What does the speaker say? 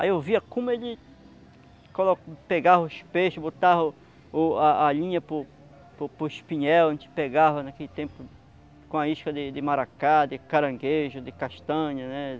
Aí eu via como ele colo pegava os peixes, botava o o a a a linha para o para o espinhel, a gente pegava naquele tempo com a isca de de maracá, de caranguejo, de castanha, né?